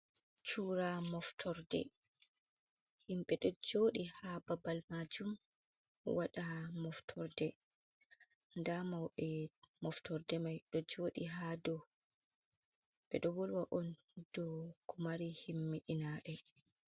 Cura moftorde, himɓe ɗo joɗi ha babal majum, waɗa moftorde. nda maube moftorde mai ɗo joɗi hadow, ɓeɗo volwa on do ko mari himmiɗinabe.